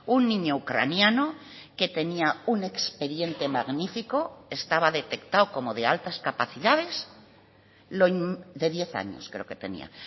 un niño ucraniano que tenía un expediente magnífico estaba detectado como de altas capacidades de diez años creo que tenía